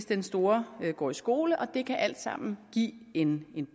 den store går i skole og det kan alt sammen give en